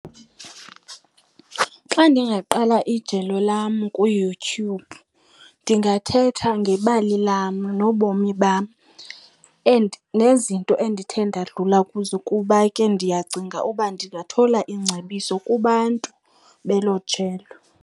Xa ndingaqala ijelo lam kuYouTube ndingathetha ngebali lam nobomi bam and nezinto endithe ndadlula kuzo, kuba ke ndiyacinga uba ndingathola iingcebiso kubantu belo jelo.